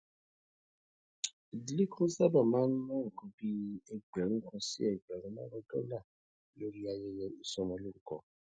ìdílé kan sábà máa ń ná nǹkan bí ẹgbèrún kan sí ẹgbèrún márùnún dólà lórí ayẹyẹ ìsọmọlórúkọ